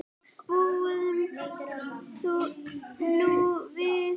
Bíðum nú við.